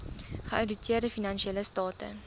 geouditeerde finansiële state